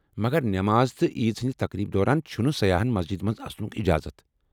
مگر نماز تہٕ عیٖز ہٕنٛزِ تقریٖبہ دوران چھِنہٕ سیاحن مسجِدِ منز اژنُك اجازت ۔